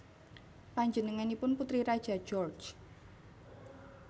Panjenenganipun putri raja George